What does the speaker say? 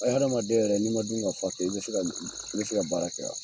hadamaden yɛrɛ n'i ma dun ka fa kɛ, i be se ka d i be se ka baara kɛ a?